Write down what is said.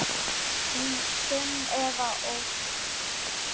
Þín Sunneva Ósk.